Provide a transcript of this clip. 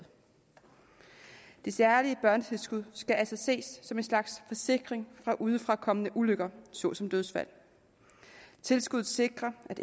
det særlige børnetilskud skal altså ses som en slags forsikring mod udefrakommende ulykker såsom dødsfald tilskuddet sikrer at